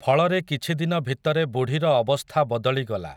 ଫଳରେ କିଛିଦିନ ଭିତରେ ବୁଢ଼ୀର ଅବସ୍ଥା ବଦଳିଗଲା ।